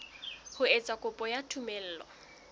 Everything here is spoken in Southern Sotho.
ho etsa kopo ya tumello